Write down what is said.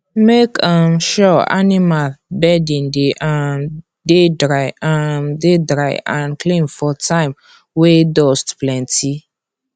make um sure animals bedding dey um dey dry um dey dry and clean for time wey dust plenty